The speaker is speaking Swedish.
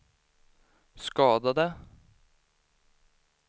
skadade